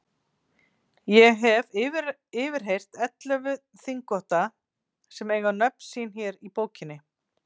Ég hef yfirheyrt ellefu þingvotta sem eiga nöfn sín hér í bókinni.